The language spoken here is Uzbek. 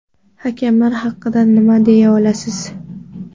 Hakamlar haqida nima deya olasiz?